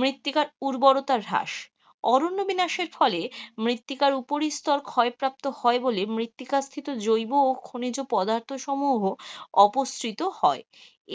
মৃত্তিকার উওর্বরতার হ্রাস, অরণ্য বিনাশের ফলে মৃত্তিকার উপরিস্তর ক্ষয় প্রাপ্ত হয় বলে মৃত্তিকাস্থিত জৈব ও খনিজ পদার্থ সমূহ অপসৃত হয়,